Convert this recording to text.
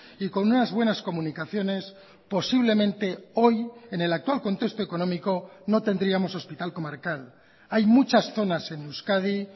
y con unas buenas comunicaciones posiblemente hoy en el actual contexto económico no tendríamos hospital comarcal hay muchas zonas en euskadi